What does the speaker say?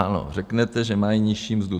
Ano, řeknete, že mají nižší mzdu.